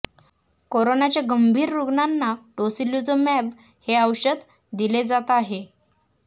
कोरोनाच्या गंभीर रुग्णांना टोसीलुझूमॅब हे औषध दिले जात आहे